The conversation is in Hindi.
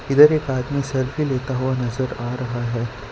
इधर एक आदमी सेल्फी लेता हुआ नजर आ रहा है।